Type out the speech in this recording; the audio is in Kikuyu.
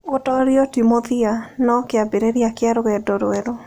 Gũtoorio ti mũthia, no kĩambĩrĩria kĩa rũgendo rwerũ.